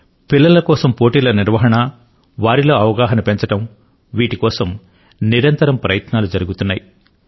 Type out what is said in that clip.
పిల్లల కోసం పోటీల నిర్వహణ వారిలో అవగాహన పెంచడం వీటికోసం నిరంతరం ప్రయత్నాలు జరుగుతున్నాయి